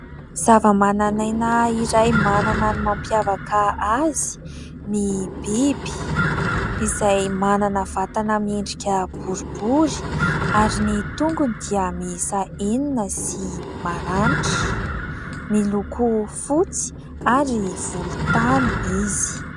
Zava-mananaina iray manana ny mampiavaka azy ny biby izay manana vatana miendrika borobory ary ny tongony dia miisa enina sy maranitra miloko fotsy ary volontany izy.